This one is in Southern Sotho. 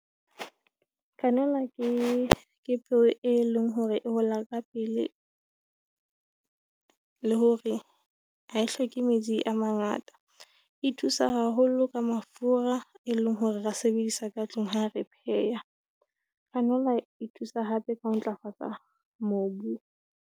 Kgannelwa ke peo e leng hore e hola ka pele , le hore ha e hloke metsi a mangata. E thusa haholo ka mafura, e leng hore re a sebedisa ka tlung ha re pheha. E thusa hape ka ho ntlafatsa mobu.